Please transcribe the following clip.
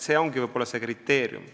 See ongi võib-olla see kriteerium.